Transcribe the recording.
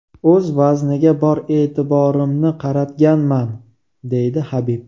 O‘z vazniga bor e’tiborimni qaratganman”, deydi Habib.